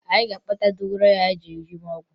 Anyị ga-akpata dogoyaro anyị ga-eji mee ọgwụ